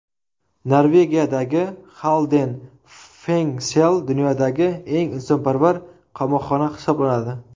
Norvegiyadagi Xalden Fengsel dunyodagi eng insonparvar qamoqxona hisoblanadi.